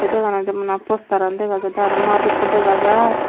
dega naw jadey bana posteran dagajaai aro mat ekko dagajaai.